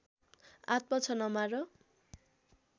आत्मा छ नमार